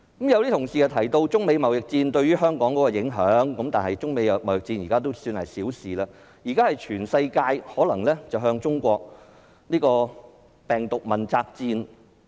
有同事提到中美貿易戰對香港的影響，但相比之下，這已經算是小事，現時全球可能也會向中國進行病毒問責戰。